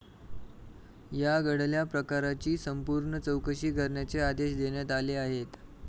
या घडल्या प्रकाराची संपूर्ण चौकशी करण्याचे आदेश देण्यात आले आहेत.